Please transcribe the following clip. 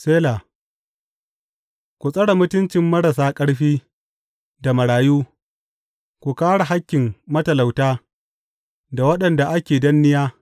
Sela Ku tsare mutuncin marasa ƙarfi da marayu; ku kāre hakkin matalauta da waɗanda ake danniya.